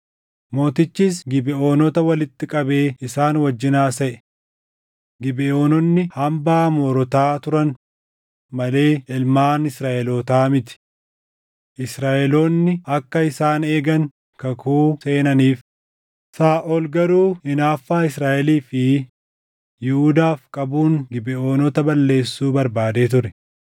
Mootichis Gibeʼoonota walitti qabee isaan wajjin haasaʼe. Gibeʼoononni hambaa Amoorotaa turan malee ilmaan Israaʼelootaa miti; Israaʼeloonni akka isaan eegan kakuu seenaniif; Saaʼol garuu hinaaffaa Israaʼelii fi Yihuudaaf qabuun Gibeʼoonota balleessuu barbaadee ture.